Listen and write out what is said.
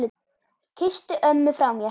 Kysstu ömmu frá mér.